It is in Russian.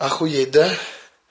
охуеть да